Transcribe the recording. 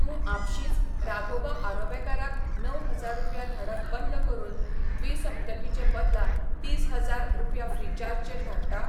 तूं आपशींच राघोबा आराबेकार त णव हजार रुपया धाडप बंद करून द्विसप्तकी चे बदला तीस हजार रुपया ऴ्रीचार्ज चेर धाडटा?